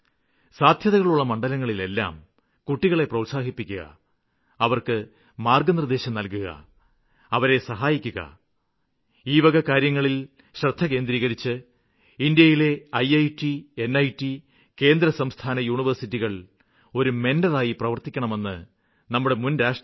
സാധ്യതകളുള്ള മണ്ഡലങ്ങളിലെല്ലാം കുട്ടികളെ പ്രോത്സാഹിപ്പിക്കുക അവര്ക്ക് മാര്ഗ്ഗനിര്ദ്ദേശം നല്കുക അവരെ സഹായിക്കുക ഈ വക കാര്യങ്ങളില് ശ്രദ്ധ കേന്ദ്രീകരിച്ച് ഇന്ത്യയിലെ ഐറ്റ് നിറ്റ് കേന്ദ്രസംസ്ഥാന യൂണിവേഴ്സിറ്റികള് ഒരു മെന്റര് ആയി പ്രവര്ത്തിക്കണമെന്ന് നമ്മുടെ മുന്രാഷ്ട്രപതി ഡോ